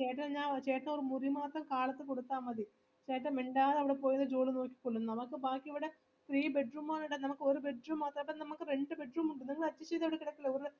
ചേട്ടന് ഞാ ചേട്ടന് ഒര് മുറിമാത്രം കാലത്ത് കൊടുത്തമതി ചേട്ടൻ മിണ്ടാതെവിടെപോയി ജോലിനോക്കിക്കോളും നമക്ക് ബാക്കി ഇവിടെ three bed room ആണെടാ നിനക്ക് ഒര് bed room മാത്രം അപ്പൊ നമുക്ക് രണ്ട് bed room ഉണ്ട് നിങ്ങൾ adjust ചെയ്തവിടെ കിടക്കില്ലേ